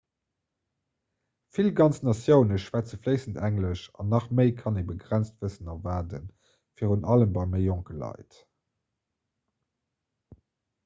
vill ganz natioune schwätze fléissend englesch an an nach méi kann een e begrenzt wëssen erwaarden virun allem bei méi jonke leit